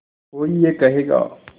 कोई ये कहेगा